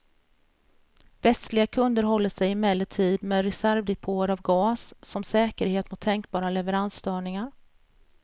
Västliga kunder håller sig emellertid med reservdepåer av gas som säkerhet mot tänkbara leveransstörningar.